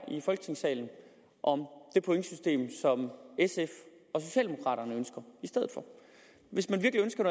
i folketingssalen om det pointsystem som sf og socialdemokraterne ønsker i stedet for hvis man virkelig ønsker